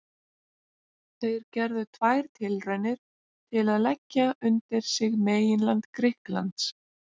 Þeir gerðu tvær tilraunir til að leggja undir sig meginland Grikklands.